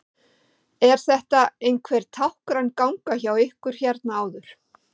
Er þetta einhver táknræn ganga hjá ykkur hérna áður?